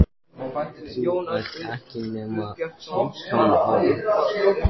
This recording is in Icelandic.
Þú ert ekki nema fimmtán ára.